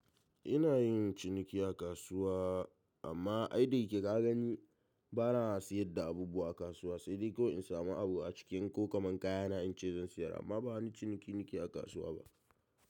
Ina yin ciniki a kasuwa amma ai da yake ka gani bana siyar da abubuwa a kasuwa sai dai kawai in samu abu a cikin ko kaman kayana in ce zan sayar amma ba wani ciniki nike a kasuwa ba.